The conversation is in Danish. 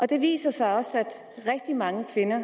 det viser sig også at rigtig mange kvinder